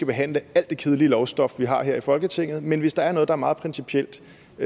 behandle alt det kedelige lovstof vi har her i folketinget men hvis der er noget der er meget principielt